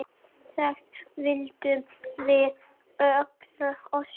Þess vildum við allir óska.